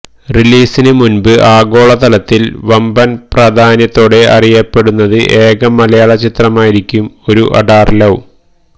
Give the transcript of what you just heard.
റിലീസിന് മുന്പ് ആഗോളതലത്തില് വമ്പന് പ്രധാന്യത്തോടെ അറിയപ്പെടുന്നത് ഏക മലയാള ചിത്രമായിരിക്കും ഒരു അഡാറ് ലവ്